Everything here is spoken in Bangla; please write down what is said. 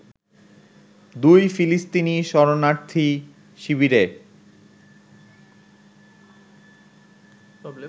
দুই ফিলিস্তিনি শরণার্থী শিবিরে